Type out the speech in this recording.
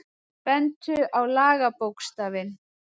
Bentu á lagabókstafinn